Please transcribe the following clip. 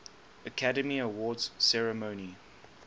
academy awards ceremony